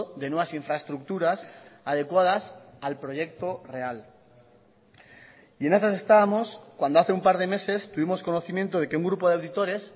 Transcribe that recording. de nuevas infraestructuras adecuadas al proyecto real y en esas estábamos cuando hace un par de meses tuvimos conocimiento de que un grupo de auditores